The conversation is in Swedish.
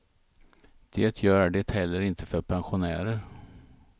Det gör det heller inte för pensionärer.